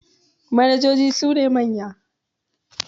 manojoji sune manya